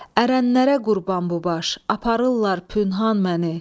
Ərənlərə qurban bu baş, aparırlar pünhan məni.